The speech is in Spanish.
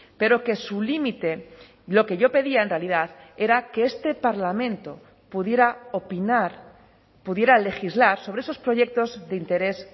pero que su límite lo que yo pedía en realidad era que este parlamento pudiera opinar pudiera legislar sobre esos proyectos de interés